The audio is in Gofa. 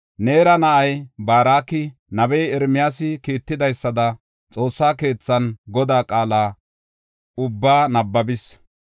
Neera na7ay Baaroki nabey Ermiyaasi kiittidaysada xoossa keethan Godaa qaala ubbaa nabbabis.